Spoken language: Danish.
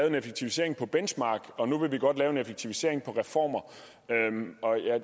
en effektivisering på benchmark og nu vil vi godt lave en effektivisering på reformer